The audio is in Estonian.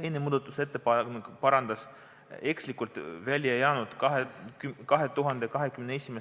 Üks muudatusettepanek parandas eksituse, millega oli tekstist välja jäänud 2021.